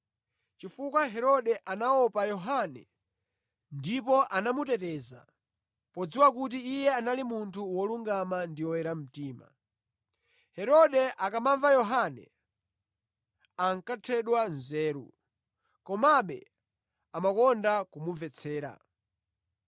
chifukwa Herode anaopa Yohane ndipo anamuteteza, podziwa kuti iye anali munthu wolungama ndi woyera mtima. Herode akamamva Yohane, ankathedwa nzeru; komabe amakonda kumumvetsera.